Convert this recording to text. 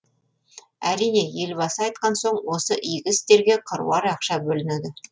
әрине елбасы айтқан соң осы игі істерге қыруар ақша бөлінеді